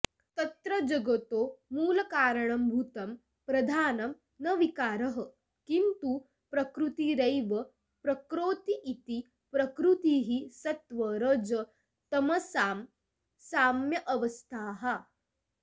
तत्र जगतो मूलकारणभूतं प्रधानं न विकारः किन्तु प्रकृतिरेव प्रकरोतीति प्रकृतिः सत्त्वरजस्तमसां साम्यावस्था